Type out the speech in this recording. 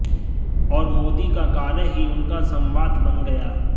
और मोदी का कार्य ही उनका संवाद बन गया